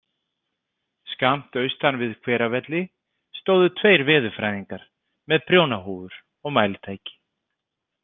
Skammt austan við Hveravelli stóðu tveir veðurfræðingar með prjónahúfur og mælitæki.